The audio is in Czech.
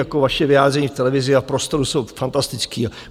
Jako vaše vyjádření v televizi a v prostoru jsou fantastická.